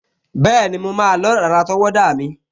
Bẹ́ẹ̀ni, mo máa lọ́ dàda àtọwọ́dá mi